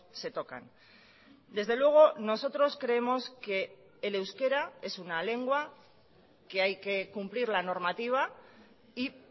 se tocan desde luego nosotros creemos que el euskera es una lengua que hay que cumplir la normativa y